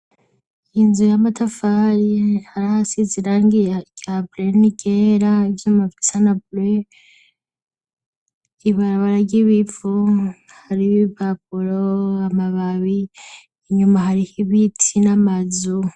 Inzu y'amatafari, hari ahasize irangi rya bleu n'iryera. Ivyuma bisa na bleu. Ibarabara ry'ibivu hari ibipapuro amababi inyuma hariho ibiti n'amazu.